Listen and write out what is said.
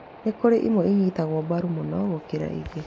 Nĩkũrĩ ĩmwe inyitagwo mbaru mũno gũkĩra ingĩ